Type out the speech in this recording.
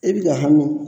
I bi ka hami